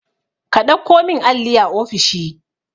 ka ɗauko min alli a ofishi